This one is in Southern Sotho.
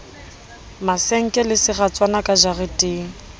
masenke le seratswana ka jareteng